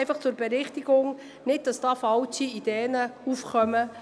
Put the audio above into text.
Dies zur Berichtigung, damit nicht falsche Ideen aufkommen.